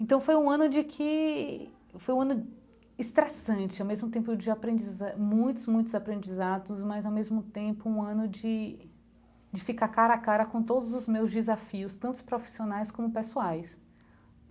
Então, foi um ano de que... Foi um ano estressante, ao mesmo tempo de aprendiza muitos, muitos aprendizados, mas, ao mesmo tempo, um ano de de ficar cara a cara com todos os meus desafios, tantos profissionais como pessoais.